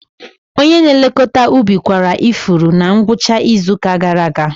Onye na-elekọta ubi kwara ifuru na ngwụcha izu ụka gara aga.